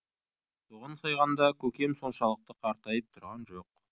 соған сайғанда көкем соншалықты қартайып тұрған жоқ